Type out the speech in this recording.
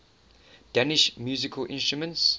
danish musical instruments